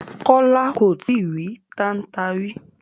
Kola ko tìí rì tànta rí